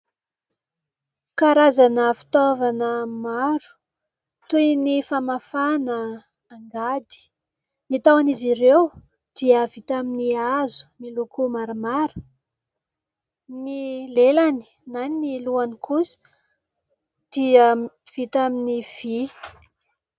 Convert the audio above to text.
Karazana fitaovana maro, toy ny : famafana, angady. Ny taon'izy ireo, dia vita amin'ny hazo, miloko maramara ; ny lelany na ny lohany kosa dia vita amin'ny vy.